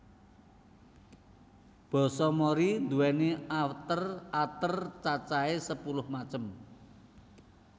Basa Mori nduwéni ater ater cacahè sepuluh macem